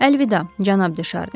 Əlvida, cənab Deşarni.